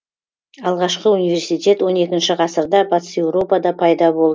алғашқы университет он екінші ғасырда батыс еуропада пайда